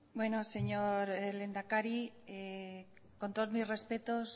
bueno señor lehendakari con todos mis respetos